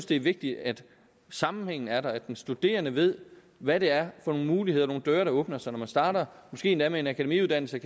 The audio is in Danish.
det er vigtigt at sammenhængen er der at den studerende ved hvad det er for nogle muligheder nogle døre der åbner sig når man starter måske endda med en akademiuddannelse